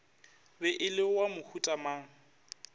be e le wa mohutamang